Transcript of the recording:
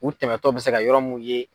U tɛmɛtɔ bɛ se ka yɔrɔ mun ye.